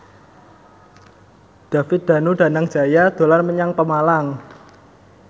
David Danu Danangjaya dolan menyang Pemalang